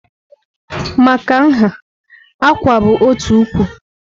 Maka nha, "Àkwà" bụ otu ụkwụ.